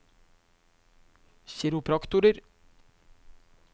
kiropraktorer